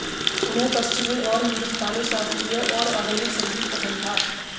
उन्हें पश्चिमी और हिन्दुस्तानी शास्त्रीय और आधुनिक संगीत पसंद था